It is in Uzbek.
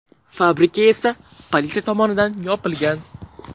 Fabrika esa politsiya tomonidan yopilgan.